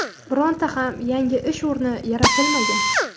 Bironta ham yangi ish o‘rni yaratilmagan.